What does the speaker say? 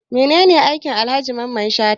Mene ne aikin Alhaji Mamman Shata?